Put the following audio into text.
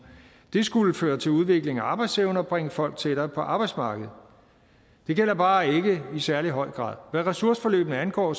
det skulle føre til udvikling af arbejdsevne og bringe folk tættere på arbejdsmarkedet det virker bare ikke i særlig høj grad hvad ressourceforløbene angår